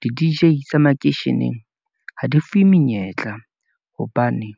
Di-D_J tsa makeisheneng ha di fuwe menyetla, hobane